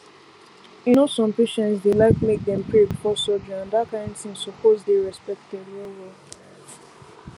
you know some patients dey like make dem pray before surgery and that kain thing suppose dey respected well well